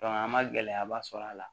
an ma gɛlɛyaba sɔrɔ a la